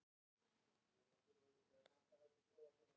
Hvað veist þú til dæmis um stríð?